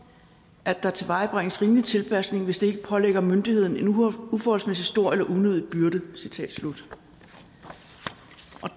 at der tilvejebringes rimelig tilpasning hvis det ikke pålægger myndigheden en uforholdsmæssig stor eller unødig byrde citat slut